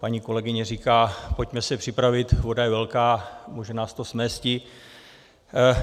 Paní kolegyně říká, pojďme se připravit, voda je velká, může nás to smésti.